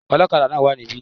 Olókadà náà wá níbí